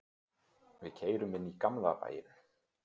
Við keyrum inn í gamla bæinn.